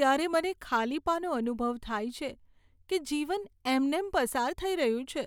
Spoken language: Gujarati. ત્યારે મને ખાલીપાનો અનુભવ થાય છે કે જીવન એમનેમ પસાર થઈ રહ્યું છે.